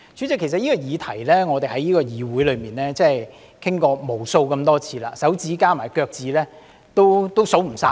代理主席，我們已在議會就這項議題討論過無數次，多至手指加上腳趾也數不完。